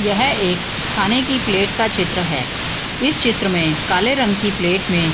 यह एक खाने की प्लेट का चित्र है इस चित्र में काले रंग की प्लेट में --